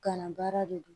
Kalan baara de don